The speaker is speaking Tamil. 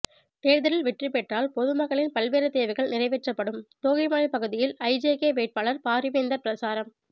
தேர்தலில் வெற்றி பெற்றால் பொதுமக்களின் பல்வேறு தேவைகள் நிறைவேற்றப்படும் தோகைமலை பகுதியில் ஐஜேகே வேட்பாளர் பாரிவேந்தர் பிரசாரம்